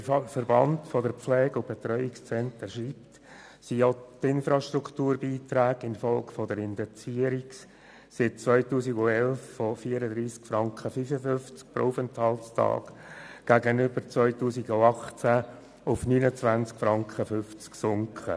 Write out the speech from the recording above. Wie der Verband der Pflege- und Betreuungszentren schreibt, sind auch die Infrastrukturbeiträge infolge der Indexierung seit dem Jahr 2011 von 34,55 Franken pro Aufenthaltstag auf 29,5 Franken gegenüber dem Jahr 2018 gesunken.